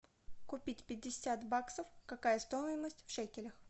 купить пятьдесят баксов какая стоимость в шекелях